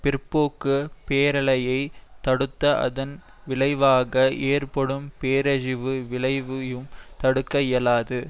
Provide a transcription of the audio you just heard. பிற்போக்கு பேரலையை தடுத்து அதன் விளைவாக ஏற்படும் பேரழிவு விளைவையும் தடுக்க இயலாது